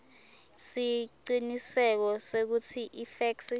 siciniseko sekutsi ifeksi